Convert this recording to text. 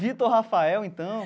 Vitor Rafael, então.